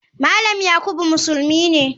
Malam yakubu musulmi ne.